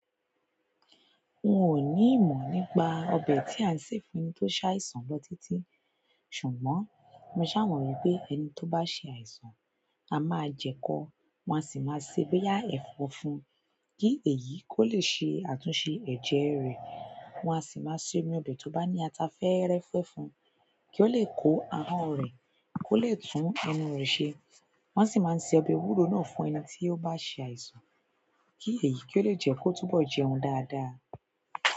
N o ní ìmọ̀ nípa ọbẹ̀ tí a ń sè fún ẹni tó ṣàìsàn lọ títí. Ṣùgbọ́n mo ṣàwárí pé ẹni tó bá ṣe àìsàn, a máa jẹ kọ, wọn a sì máa sè boyà ẹ̀fọ́ fún un kí èyí kó lè ṣe àtúnṣe ẹ̀jẹ̀ rẹ̀. Wọn a sì máa sè omí ọbẹ̀ tó bá ní ata fẹ́ẹ́rẹ́fẹ́ fún un kí ó lè kó ahọ́n rẹ̀, kó lè tún inú rẹ̀ ṣe. Wọ́n sì máa ń ṣe ọbẹ̀ ewúro náà fún ẹni tí ó bá ṣe àìsàn kí èyí kó lè jẹ́ kó túbọ̀ jẹun dáadáa.